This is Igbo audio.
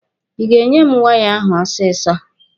Ị ga-enye m waya ahụ ọsịsọ!